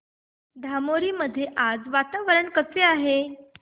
धामोरी मध्ये आज वातावरण कसे आहे